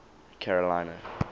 carolina